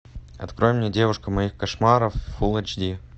открой мне девушка моих кошмаров фулл эйч ди